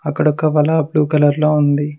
అక్కడ ఒక వల బ్లూ కలర్ లో ఉంది.